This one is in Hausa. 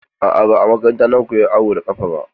A'a, ba a makaranta na koya awo da ƙafa ba.